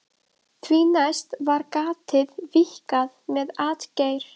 Því næst var gatið víkkað með atgeir.